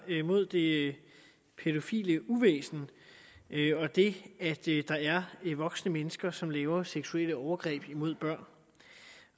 mod det pædofile uvæsen og det at der er voksne mennesker som begår seksuelle overgreb mod børn